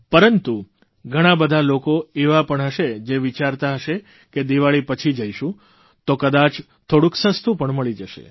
પરંતુ ઘણા બધા લોકો એવા પણ હશે જે વિચારતા હશે કે દિવાળી પછી જઇશું તો કદાચ થોડુંક સસ્તુ પણ મળી જશે